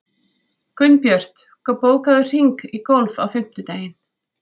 Gunnbjört, bókaðu hring í golf á fimmtudaginn.